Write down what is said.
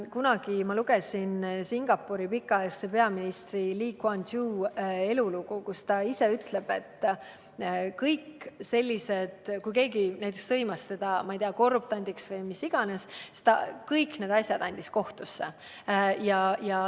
Kunagi ma lugesin Singapuri pikaaegse peaministri Lee Kuan Yew' elulugu, milles ta ise ütleb, et kui keegi sõimas teda näiteks korruptandiks või milleks iganes, siis andis ta kõik need asjad kohtusse.